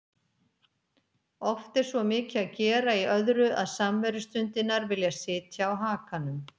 Oft er svo mikið að gera í öðru að samverustundirnar vilja sitja á hakanum.